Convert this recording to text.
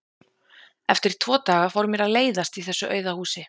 Eftir tvo daga fór mér að leiðast í þessu auða húsi.